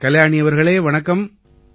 கல்யாணி அவர்களே வணக்கம்